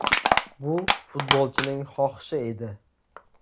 Bu futbolchining xohishi edi.